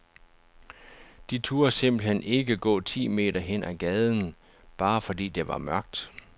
De turde simpelthen ikke gå ti meter hen ad gaden, bare fordi det var mørkt.